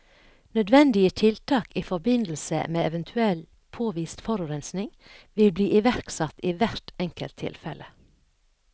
Nødvendige tiltak i forbindelse med eventuell påvist forurensning vil bli iverksatt i hvert enkelt tilfelle.